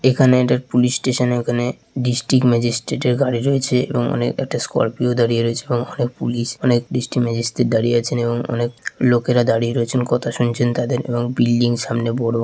এখানে এটার police station এ ওখানে ডিস্ট্রিক্ট ম্যাজিস্ট্রেট এর গাড়ি রয়েছে এবং অনেক স্করপিও দাঁড়িয়ে রয়েছে এবং অনেক পুলিশ অনেক ডিস্ট্রিক্ট ম্যাজিস্ট্রেট দাঁড়িয়ে আছেন এবং অনেক লোকেরা দাঁড়িয়ে রয়েছেন। কথা শুনছেন তাদের এবং বিল্ডিং সামনে বড়ো।